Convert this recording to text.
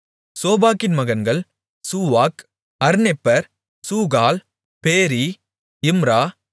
சோபாக்கின் மகன்கள் சூவாக் அர்னெப்பர் சூகால் பேரி இம்ரா